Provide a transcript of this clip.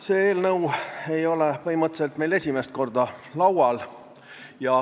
Sellise sisuga eelnõu ei ole meil esimest korda laual.